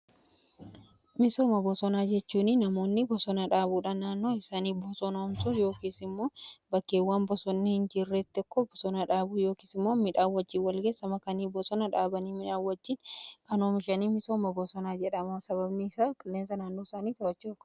Misooma bosonaa jechuuni namoonni bosonaa dhaabuudhaa naannoo isaanii bosonoomsu yookiisimmoo bakkeewwan bosonni hin jirreetti akkoo bosonaa dhaabuu yookiis immoo midhaa wajjii wal gessama kanii bosona dhaabanii midhaawwajjiin kanoomishanii misooma bosonaa jedhama sababni saa qileensa naannoo isaanii ta'achudha.